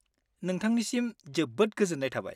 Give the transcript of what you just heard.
नोंथांनिसिम जोबोद गोजोन्नाय थाबाय।